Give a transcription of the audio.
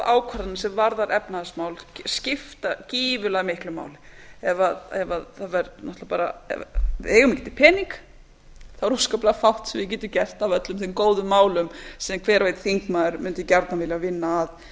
ákvarðanir sem varða efnahagsmál skipta gífurlega miklu máli ef við eigum ekki pening er afskaplega fátt sem við getum gert af öllum þeim góðu málum sem hver og einn þingmaður mundi gjarnan vilja vinna